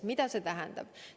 Mida see tähendab?